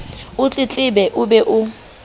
o tletlebe o be o